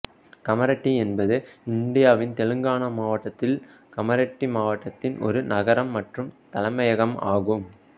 கமரெட்டி என்பது இந்தியாவின் தெலுங்கானா மாநிலத்தில் கமரெட்டி மாவட்டத்தின் ஒரு நகரம் மற்றும் தலைமையகம் ஆகும்